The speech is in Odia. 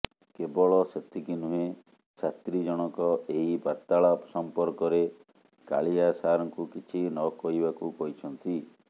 କେବଳ ସେତିକି ନୁହେଁ ଛାତ୍ରୀ ଜଣକ ଏହି ବାର୍ତାଳାପ ସଂପର୍କରେ କାଳିଆ ସାରଙ୍କୁ କିଛି ନକହିବାକୁ କହିଛନ୍ତି